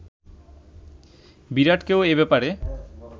বিরাটকেও এ ব্যপারে